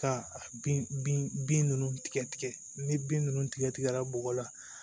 Ka bin bin nunnu tigɛtigɛ ni bin nunnu tigɛ tigɛra bɔgɔ la